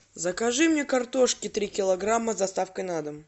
закажи мне картошки три килограмма с доставкой на дом